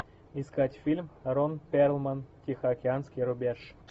искать фильм рон перлман тихоокеанский рубеж